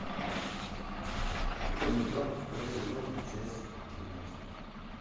кукольный дом второй сезон часть тринадцать